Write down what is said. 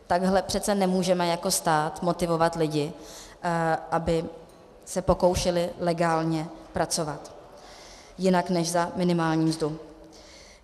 Takhle přece nemůžeme jako stát motivovat lidi, aby se pokoušeli legálně pracovat jinak než za minimální mzdu!